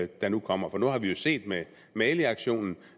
der nu kommer for nu har vi jo set med maliaktionen